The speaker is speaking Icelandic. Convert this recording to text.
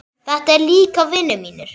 Þetta eru líka vinir mínir.